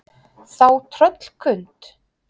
Þá tröllkund